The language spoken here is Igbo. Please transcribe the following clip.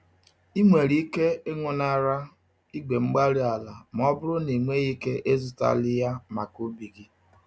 Ị nwere ike ịñụnara igwe-mgbárí-ala ma ọ bụrụ na ịnweghị ike ịzụtali ya maka ubi gị.